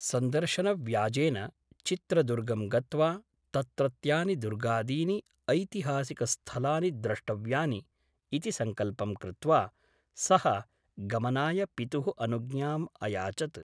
सन्दर्शनव्याजेन चित्रदुर्गं गत्वा तत्रत्यानि दुर्गादीनि ऐतिहासिकस्थलानि द्रष्टव्यानि ' इति सङ्कल्पं कृत्वा सः गमनाय पितुः अनुज्ञाम् अयाचत् ।